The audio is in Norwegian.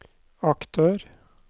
aktør